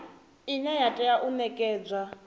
ine ya tea u nekedzwa